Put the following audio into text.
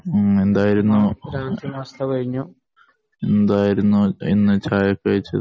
ഉം എന്തായിരുന്നു ഇന്ന് ചായക്ക് കഴിച്ചത്